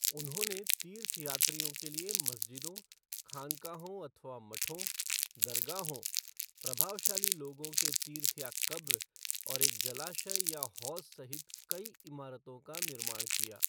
उन्होंने तीर्थयात्रियों के लिए मस्जिदों, खानकाहों अथवा मठों, दरगाहों अर्थात् प्रभावशाली लोगों के तीर्थ या कब्र, और एक जलाशय या हौज़ सहित कई इमारतों का निर्माण किया।